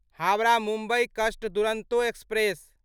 हावड़ा मुम्बई कस्ट दुरंतो एक्सप्रेस